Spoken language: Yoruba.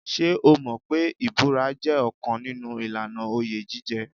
Ṣé o mọ̀ pé ìbúra jẹ́ ọ̀kan nínú ìlànà oyè jíjẹ.